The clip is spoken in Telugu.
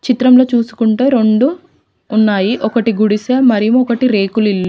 చిత్రంలో చూసుకుంటూ రెండు ఉన్నాయి ఒకటి గుడిసె మరీ ఒకటి రేకులు ఇల్లు.